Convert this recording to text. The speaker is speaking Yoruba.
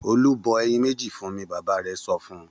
Olú bọ ẹyin méjì fún mi! Bàbá rẹ̀ sọ fún un.